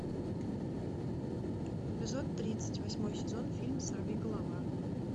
эпизод тридцать восьмой сезон фильм сорвиголова